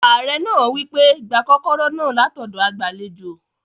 Ààrẹ náà wí pé, "gba kọ́kọ́rọ́ náà látọ̀dọ̀ agbàlejò